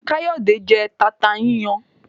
Kayode jé tata yíyan